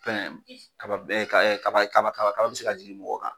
Fɛn kaba ɛ ka kaba kaba be se ka jigin mɔgɔ kan